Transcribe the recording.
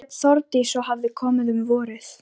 Hún hét Þórdís og hafði komið um vorið.